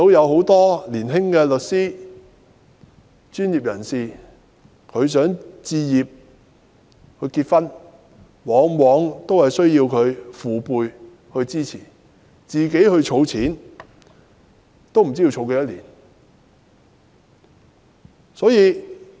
很多年輕的律師或其他專業人士想為結婚而置業，但往往仍需要他們的父輩支持，否則靠自行儲錢也不知要儲多少年。